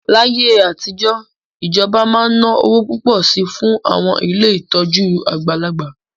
Láyé àtijọ́, ìjọba máa ń ná owó púpọ̀ sí i fún àwọn ilé ìtọ́jú àgbàlagbà